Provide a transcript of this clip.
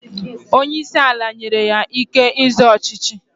Onye isi ala nyere ya ike ịzọ ọchịchị.